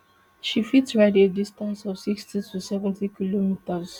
she fit ride a distance of sixty to seventy kilometres